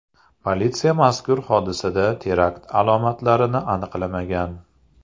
Politsiya mazkur hodisada terakt alomatlarini aniqlamagan.